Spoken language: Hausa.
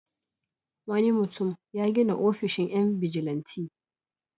Wani mutum ya gina ofishin 'yan bijilanti.